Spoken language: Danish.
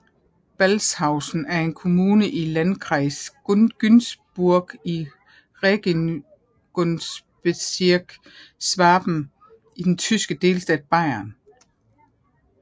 Balzhausen er en kommune i Landkreis Günzburg i Regierungsbezirk Schwaben i den tyske delstat Bayern